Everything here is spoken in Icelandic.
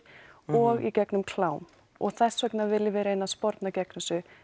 og í gegnum klám og þess vegna viljum við reyna að sporna gegn þessu